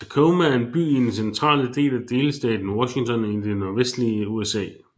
Tacoma er en by i den centrale del af delstaten Washington i det nordvestlige USA